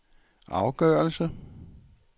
afgørelse